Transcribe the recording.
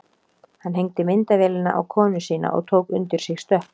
Hann hengdi myndavélina á konu sína og tók undir sig stökk.